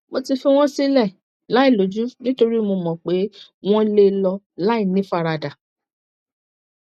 mo ti fi wọn sílẹ láìlójú nítorí mo mọ pé wọn lè lọ lọ láìní ìfaradà